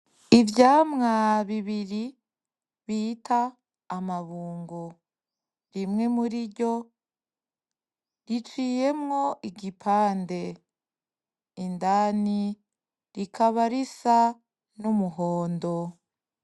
Ivyamwa bibiri bita amabungo. Rimwe muri ryo riciyemwo igipande. Indani , rikaba risa n’umuhondo.